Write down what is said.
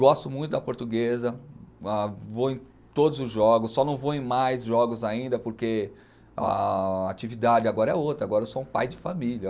Gosto muito da portuguesa, ah vou em todos os jogos, só não vou em mais jogos ainda, porque a atividade agora é outra, agora eu sou um pai de família.